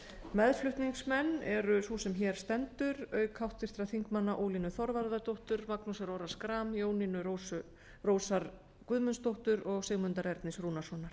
meðflutningsmenn eru sú sem hér stendur auk háttvirtra þingmanna ólínu þorvarðardóttur magnúsar orra schram jónínu rósar guðmundsdóttur og sigmundar ernis rúnarssonar